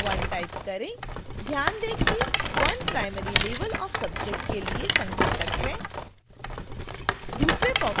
ध्यान दें कि: 1 primary level of subject के लिए संकेतक है